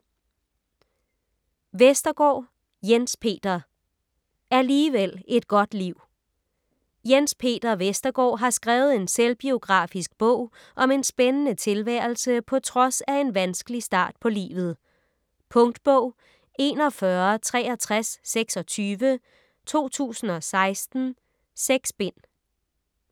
Vestergaard, Jens Peter: Alligevel et godt liv Jens Peter Vestergaard har skrevet en selvbiografisk bog om en spændende tilværelse på trods af en vanskelig start på livet. Punktbog 416326 2016. 6 bind.